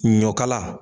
Ɲɔkala